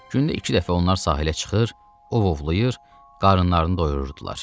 Gündə iki dəfə onlar sahilə çıxır, ov ovlayır, qarınlarını doyururdular.